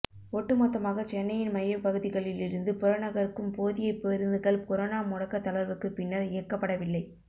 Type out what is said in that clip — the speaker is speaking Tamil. ஒட்டுமொத்தமாக சென்னையின் மையப்பகுதிகளில் இருந்து புறநகருக்கும் போதிய பேருந்துகள் கொரோனா முடக்க தளர்வுக்கு பின்னர் இயக்கப்படவில்லை